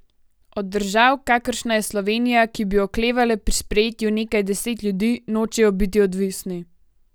Od držav, kakršna je Slovenija, ki bi oklevale pri sprejetju nekaj deset ljudi, nočejo biti odvisni.